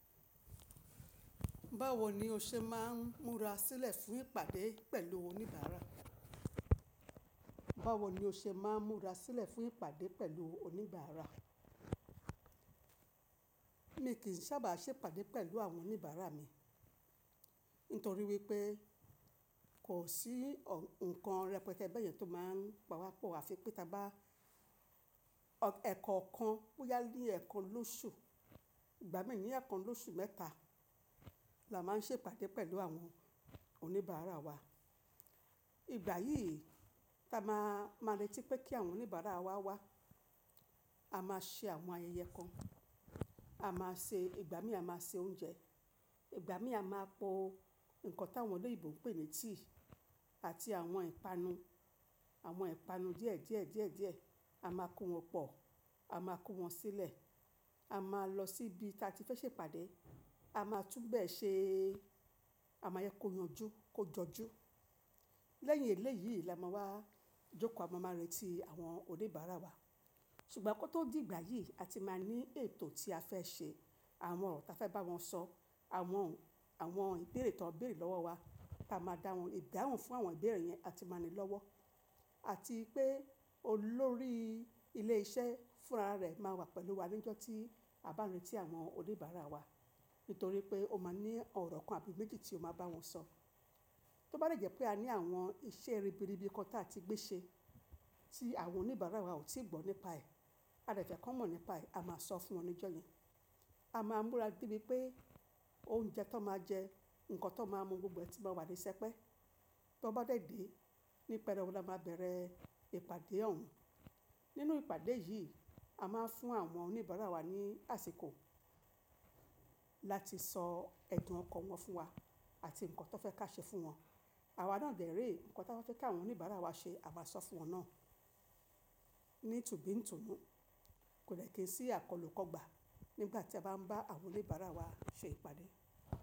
Báwo ni o ṣe máa ń múra sílẹ̀ fún ìpàdé pẹ̀lú oníbàárà? Báwo ni o ṣe máa ń múra sílẹ̀ fún ìpàdé pẹ̀lú oníbàárà? Mi kì í sábà ṣe ìpàdé pẹ̀lú àwọn oníbàárà mi nítorí wípé kò sí ǹkan rẹpẹtẹ bẹ́yẹn tó máa ń pawa pọ̀, àfi pé ta bá ẹ̀kọ́kan bóyá ni ẹ̀kan lóṣù, ìgbà mí ní ẹ̀kan lóṣù mẹ́ta la máa ń ṣe ìpàdé pẹ̀lú àwọn oníbàárà wa. Ìgbà yìí ta máa, máa retí pé kí àwọn oníbàárà wa wá, a máa ṣe àwọn ayẹyẹ kan, a máa ṣe, ìgbà mí a máa se oúnjẹ, ìgbà mí a máa po nǹkan tí àwọn olóyinbo ń pè ní tíì àti àwọn ìpanu, àwọn ìpanu díẹ̀ díẹ̀ díẹ̀ díẹ̀. A máa kó wọn pọ̀, a máa kó wọn sílẹ̀, a máa lọ síbi tí a ti fẹ́ ṣe ìpàdé, a máa túbọ̀ ṣe, a máa jẹ kó yanjú, kó jọjú. Lẹ́yìn eléyìí la máa wá jókòó, a máa retí àwọn oníbàárà wa. Ṣùgbọ́n kó tó di ìgbà yìí, a ti máa ní ètò tí a fẹ́ ṣe, àwọn ọ̀rọ̀ ta fẹ́ bá wọn sọ, àwọn, àwọn ìbéèrè tó ń bèèrè lọ́wọ́ wa, tá a máa dá wọn ìdáhùn fún àwọn ìbéèrè yẹn, a ti máa ní i lọ́wọ́. Àti pé olórí ilé iṣẹ́ fúnra rẹ̀ máa wà pẹ̀lú wa ní ọjọ́ tí a bá n retí àwọn oníbàárà wa, nítorí pé ó máa ní ọ̀rọ̀ kan àbí méjì tí ó máa bá wọn sọ. Tó bá dẹ̀ jẹ́ pé a ní àwọn iṣẹ́ ribiribi kan ta ti gbé ṣe tí àwọn oníbàárà wa ò tíì gbọ́ nípa ẹ̀, a dẹ̀ fẹ́ kàn mọ̀ nípa ẹ̀, a máa sọ fún wọn ní ọjọ́ yẹn. A máa múra dé ibi pé oúnjẹ tán máa jẹ, ǹkan tán máa mu gbogbo ẹ ti máa wà ní sẹpẹ́. Tọn bá dẹ̀ dé, ní pẹ́rẹwu la máa bẹ̀rẹ̀ ìpàdé òhun. Nínú ìpàdé yìí, a máa fún àwọn oníbàárà wa ní àsìkò láti sọ ẹ̀dùn ọkàn wọn fún wa àti ǹkan tó fẹ́ ká ṣe fún wọn. Àwa náà dẹ̀ re ǹkan taba fẹ́ kí àwọn oníbàárà wa ṣe, à maa sọ fún wọn náà ní tùnbì ń tùnú. Kò dẹ̀ kí n sí àkọ́lù kọ́ gba nígbà tí a bá ń bá àwọn oníbàárà wa ṣe ìpàdé.